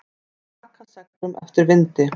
Að aka seglum eftir vindi